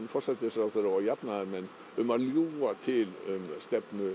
forsætisráðherra og jafnaðarmenn um að ljúga til um stefnu